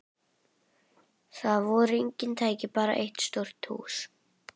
Þar voru engin tæki, bara eitt stórt hús.